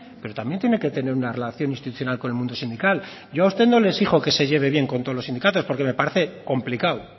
pero también tienen que tener una relación institucional con el mundo sindical yo a usted no le exijo que se lleve bien con todos los sindicatos porque me parece complicado